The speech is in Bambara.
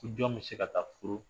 Nin jɔn bɛ se ka taa furu